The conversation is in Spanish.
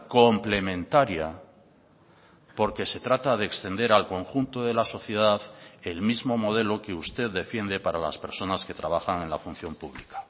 complementaria porque se trata de extender al conjunto de la sociedad el mismo modelo que usted defiende para las personas que trabajan en la función pública